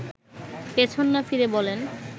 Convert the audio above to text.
পেছন না ফিরে বলেন